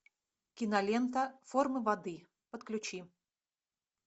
кинолента форма воды подключи